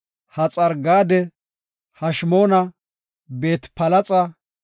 Haxar-Gaade, Heshmoona, Beet-Palexa,